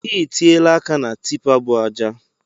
I tiela aka na tipa bu ajai!